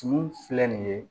Tumu filɛ nin ye